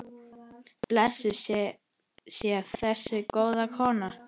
Blessuð sé þessi góða kona.